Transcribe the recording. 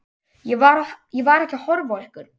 Ég var ekki að horfa á ykkur.